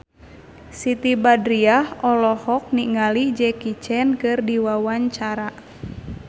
Siti Badriah olohok ningali Jackie Chan keur diwawancara